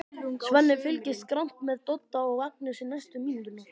Svenni fylgist grannt með Dodda og Agnesi næstu mínúturnar.